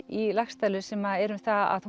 í Laxdælu sem er um það að